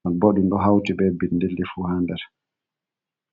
non bo ɗum ɗo hauti be bindirɗi fu ha nder.